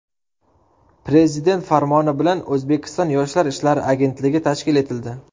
Prezident farmoni bilan O‘zbekiston Yoshlar ishlari agentligi tashkil etildi.